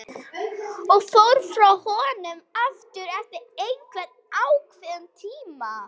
Og fór frá honum aftur eftir einhvern ákveðinn tíma.